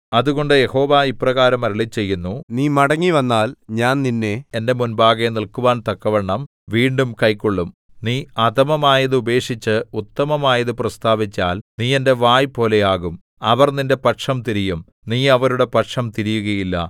അതുകൊണ്ട് യഹോവ ഇപ്രകാരം അരുളിച്ചെയ്യുന്നു നീ മടങ്ങിവന്നാൽ ഞാൻ നിന്നെ എന്റെ മുമ്പാകെ നില്ക്കുവാൻ തക്കവണ്ണം വീണ്ടും കൈക്കൊള്ളും നീ അധമമായത് ഉപേക്ഷിച്ച് ഉത്തമമായത് പ്രസ്താവിച്ചാൽ നീ എന്റെ വായ് പോലെ ആകും അവർ നിന്റെ പക്ഷം തിരിയും നീ അവരുടെ പക്ഷം തിരിയുകയില്ല